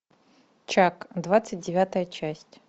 чак двадцать девятая часть